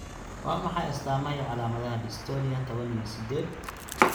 Waa maxay astaamaha iyo calaamadaha Dystonia tawan iyo sidhed?